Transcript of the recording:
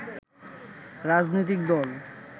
রাজনৈতিক দল